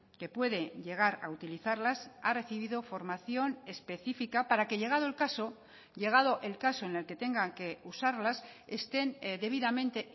que puede llegar a utilizarlas ha recibido formación específica para que llegado el caso llegado el caso en el que tengan que usarlas estén debidamente